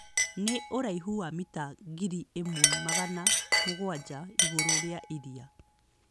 Nĩ ũraihu wa mita ngiri ĩmwe magana mũgwanja igũrũ rĩa iria.